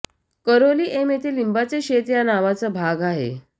करोली एम येथे लिंबाचे शेत या नावाचा भाग आहे